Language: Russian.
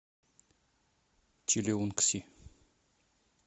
чилеунгси